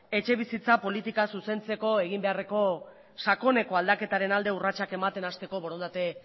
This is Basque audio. etxebizitza politika zuzentzek egin beharreko sakoneko aldaketaren alde urratsak ematen hasteko borondate